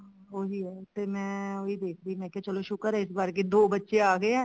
ਉਹੀ ਆ ਤੇ ਮੈਂ ਉਹੀ ਦੇਖਦੀ ਮੈਂ ਕਿਹਾ ਸ਼ੁਕਰ ਹੈ ਚਲੋ ਇਸ ਵਾਰ ਦੋ ਬੱਚੇ ਆ ਗਏ ਏ